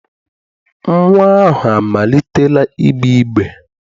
Nnwa ahụ amalitela igbe igbe.